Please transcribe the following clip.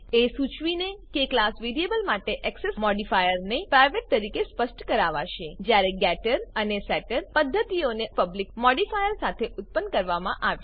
એ સુચવીને કે class variable માટે એક્સેસ મોડિફાયર મોડીફાયરને પ્રાઇવેટ તરીકે સ્પષ્ટ કરાવાશે જ્યારે કે ગેટર અને સેટર પદ્ધતિઓને અનુક્રમે પબ્લિક મોડીફાયરો સાથે ઉત્પન્ન કરવામાં આવશે